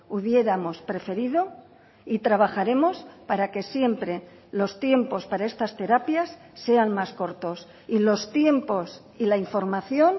hubiéramos preferido y trabajaremos para que siempre los tiempos para estas terapias sean más cortos y los tiempos y la información